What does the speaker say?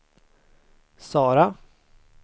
Sara